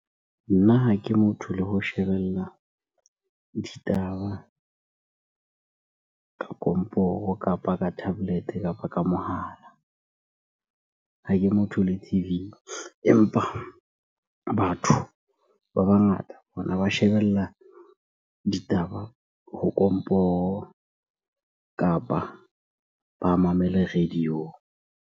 Nna ha ke motho le ho shebella ditaba ka komporo, kapa ka tablet-e, kapa ka mohala. Ha ke motho le T_V empa batho ba bangata bona ba shebella ditaba ho komporo kapa ba mamele radio-ong